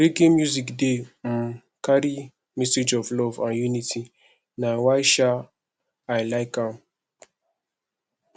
reggae music dey um carry message of love and unity na why um i like am